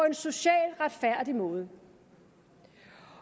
en socialt retfærdig måde